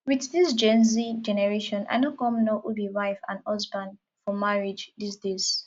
with dis genz generation i no come know who be wife and husband for marriage dis days